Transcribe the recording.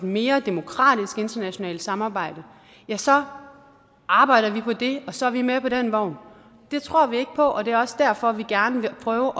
mere demokratisk internationalt samarbejde ja så arbejder vi for det og så er vi med på den vogn det tror vi ikke på og det er også derfor vi gerne vil prøve at